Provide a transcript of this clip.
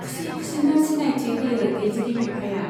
खुसि खुसिनो सिनायथि होयो दैजिरि बिफाया।